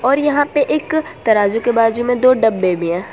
और यहां पे एक तराजू के बाजू में दो डब्बे भी है।